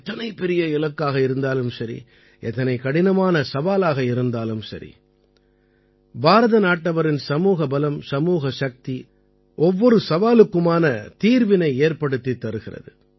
எத்தனை பெரிய இலக்காக இருந்தாலும் சரி எத்தனை கடினமான சவாலாக இருந்தாலும் சரி பாரத நாட்டவரின் சமூக பலம் சமூக சக்தி ஒவ்வொரு சவாலுக்குமான தீர்வினை ஏற்படுத்தித் தருகிறது